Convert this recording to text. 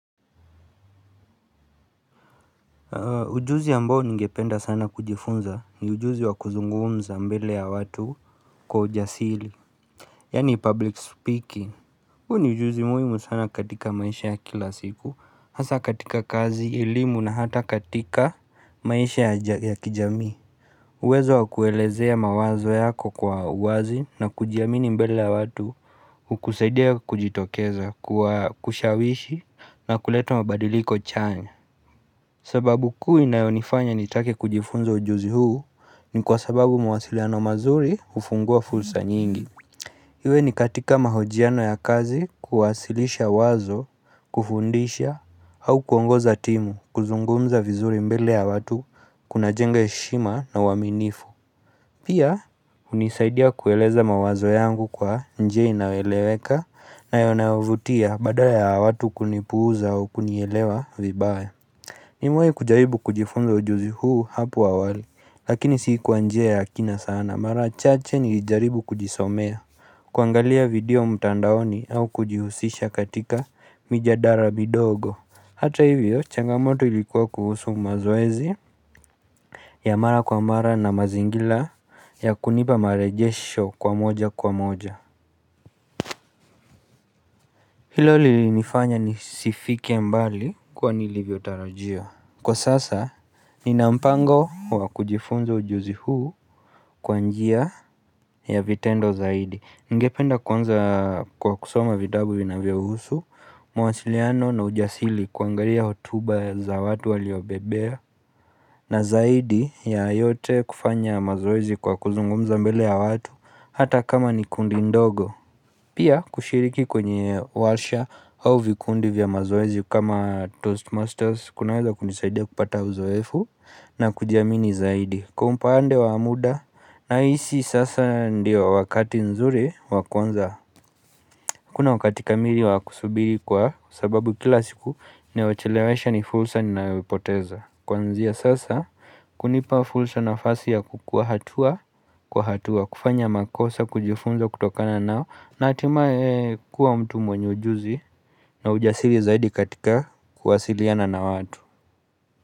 Ujuzi ambao ningependa sana kujifunza ni ujuzi wa kuzungumza mbele ya watu kwa ujasili, yani public speaking. Huu ni ujuzi muhimu sana katika maisha ya kila siku. Hasa katika kazi, elimu na hata katika maisha ya kijamii. Uwezo wa kuelezea mawazo yako kwa wazi na kujiamini mbele ya watu, hukusaidia kujitokeza kwa kushawishi na kuleta mabadiliko chanya sababu kuu inayonifanya nitake kujifunzo ujuzi huu, ni kwa sababu mawasiliano mazuri hufungua fursa nyingi. Iwe ni katika mahojiano ya kazi, kuwasilisha wazo kufundisha au kuongoza timu. Kuzungumza vizuri mbele ya watu kunajenge heshima na uaminifu. Pia hunisaidia kueleza mawazo yangu kwa njia inayoeleweka na inayovutia badala ya watu kunipuuza au kunielewa vibaya. Nimewai kujaribu kujifunza ujuzi huu hapo awali, lakini si kwa njia ya kina sana. Mara chache nilijaribu kujisomea, kuangalia video mtandaoni au kujihusisha katika mijadala midogo. Hata hivyo, changamoto ilikuwa kuhusu mazoezi, ya mara kwa mara na mazingila ya kunipa marejesho kwa moja kwa moja. Hilo lilinifanya nisifike mbali kwa nilivyotarajia. Kwa sasa, nina mpango wa kujifunza ujuzi huu kwa njia. Ya vitendo zaidi. Ningependa kuanza kwa kusoma vitabu vinavyohusu mawasiliano na ujasili, kuangaria hotuba za watu waliobebea. Na zaidi ya yote, kufanya mazoezi kwa kuzungumza mbele ya watu. Hata kama ni kundi ndogo. Pia kushiriki kwenye walsha au vikundi vya mazoezi kama Toastmasters. Kunaweza kunisaidia kupata uzoefu na kujiamini zaidi. Kwa upande wa muda nahisi sasa ndio wakati nzuri wa kwanza. Kuna wakati kamili wa kusubiri kwa sababu kila siku inayochelewesha ni fulsa ninayoipoteza Kuanzia sasa kunipa fulsa nafasi ya kukua hatua kwa hatua kufanya makosa kujifunza kutokana nayo na hatimaye kuwa mtu mwenye ujuzi na ujasiri zaidi katika kuwasiliana na watu.